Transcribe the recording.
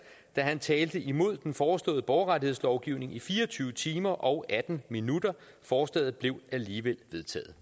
da han talte imod den foreslåede borgerrettighedslovgivning i fire og tyve timer og atten minutter forslaget blev alligevel vedtaget